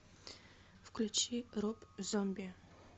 включи роб зомби